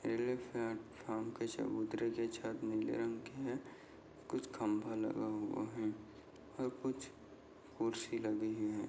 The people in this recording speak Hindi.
प्लेटफार्म का चबूतरे का छत नीले रंग की है कुछ खम्बा लगा हुआ है और कुछ कुर्सी लगी हुई है।